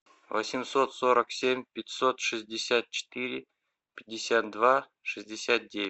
восемьсот сорок семь пятьсот шестьдесят четыре пятьдесят два шестьдесят девять